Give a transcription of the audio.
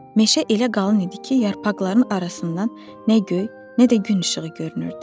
Meşə elə qalın idi ki, yarpaqların arasından nə göy, nə də gün işığı görünürdü.